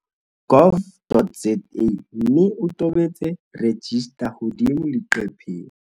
gov.za mme o tobetse 'register' hodimo leqepheng.